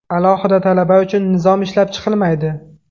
Alohida talaba uchun nizom ishlab chiqilmaydi.